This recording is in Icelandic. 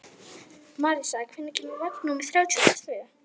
Marísa, hvenær kemur vagn númer þrjátíu og tvö?